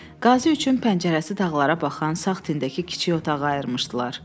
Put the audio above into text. Qazi üçün pəncərəsi dağlara baxan sağ tindəki kiçik otağı ayırmışdılar.